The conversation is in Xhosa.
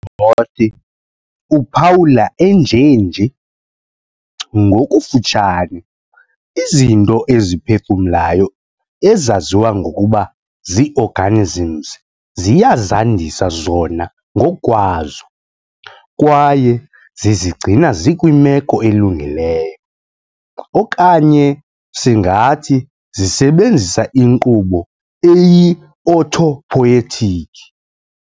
Roth uphawula enjenje, "Ngokufutshane, izinto eziphefumlayo ezaziwa ngokuba zii-organisms ziyazandisa zona ngokwazo, kwaye zizigcina zikwimeko elungileyo, okanye singathi zisebenzisa inkqubo eyi-'autopoietic'".